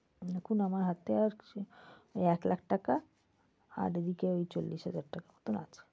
এখন আমার হাতে আছে এই এক লাখ টাকা আর এদিকে চল্লিশ টাকার মত আছে।